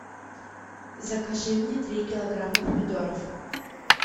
закажи мне три килограмма помидоров